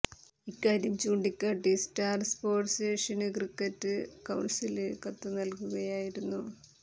ഇക്കാര്യം ചൂണ്ടിക്കാട്ടി Star Sports Asian cricket കൌണ്സിലിന് കത്ത് നല്കുകയായിരുന്നു